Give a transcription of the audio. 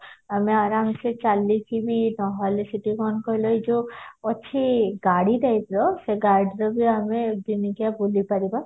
ଆମେ ଆରମସେ ବି ଚାଲିକି ବି ନହେଲେ ସେଠି କଣ କହିଲ ଯୋଉ ଅଛି ଗାଡି typeର ସେ ଗାଡିରେବି ଆମେ ଦିନିକିଆ ବୁଲିପାରିବା